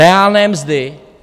Reálné mzdy?